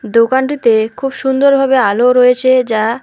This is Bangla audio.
দোকানটিতে খুব সুন্দরভাবে আলো রয়েছে যা--